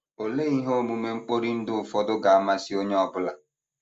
Olee ihe omume mkpori ndụ ụfọdụ ga - amasị onye ọ bụla?